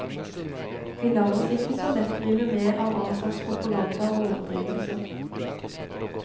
Vi lar oss ikke så lett rive med av all slags propaganda og overdrivelser.